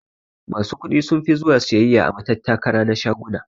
Masu kuɗi sunfi zuwa siyayya a matattara na shaguna.